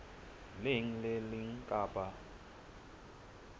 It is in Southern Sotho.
leng le le leng kapa